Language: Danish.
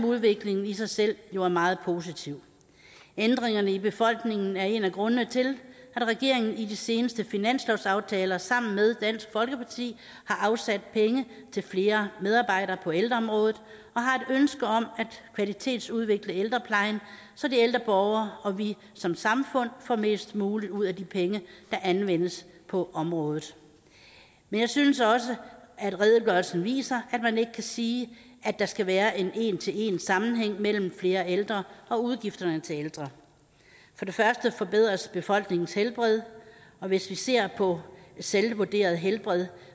udviklingen i sig selv jo er meget positiv ændringerne i befolkningen er en af grundene til at regeringen i de seneste finanslovsaftaler sammen med dansk folkeparti har afsat penge til flere medarbejdere på ældreområdet og har et ønske om at kvalitetsudvikle ældreplejen så de ældre borgere og vi som samfund får mest muligt ud af de penge der anvendes på området men jeg synes også at redegørelsen viser at man ikke kan sige at der skal være en en til en sammenhæng mellem flere ældre og udgifterne til ældre for det første forbedres befolkningens helbred og hvis vi ser på selvvurderet helbred